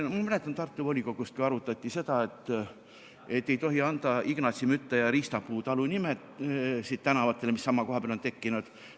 Ma mäletan Tartu volikogust, kui arutati, et ei tohi anda Ignatsi, Mütta ja Riistapuu talu nimesid tänavatele, mis sama koha peale on tekkinud.